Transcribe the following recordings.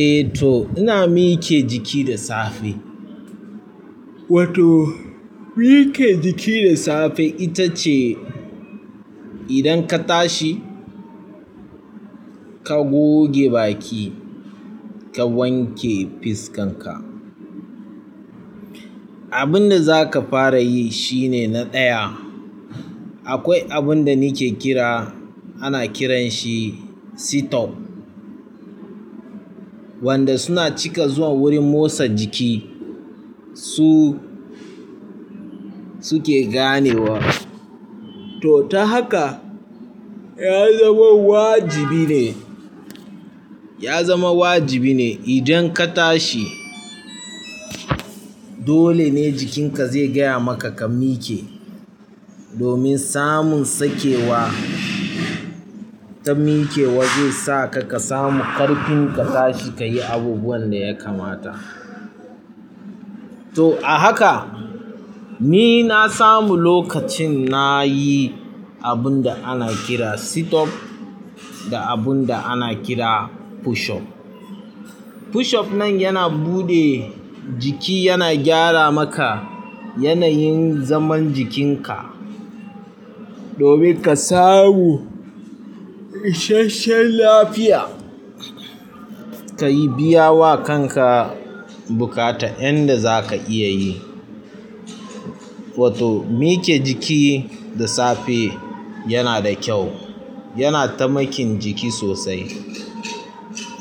Eh to ina mike jiki da safe. Wato mike jiki da safe, ita ce idan ka tashi, ka goge baki, ka wanke fuskanka. Abin da zaka fara yi shine na ɗaya. Akwai abinda nake kira, ana kiran shi setup. Wanda suna cika zuwa wurin motsa jiki, su suke gane abu. To, ta haka ya zama wajibi ne, ya zama wajibi ne idan ka tashi, dole ne jikinka zai gaya maka ka mi ƙe, domin samun sake wa ta miƙewa zai sa ka ka samu ƙarfin ka tashi ka yi abubuwan da ya kamata. To a haka, ni na samu lokacin nayi abun da ana kiran sit-up da abun da ana kira push-up. Push-up nan yana buɗe jiki yana gyara maka yanayin zaman jikin ka. Domin ka samu ishasshen lafiya, ka biyawa kanka buƙatar yanda zaka iya yi. Wato miƙe jiki da safe yanada kyau, yana taimakin jiki sosai.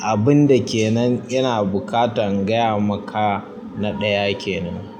Abinda ke nan ina buƙatan gaya maka na ɗaya kenan.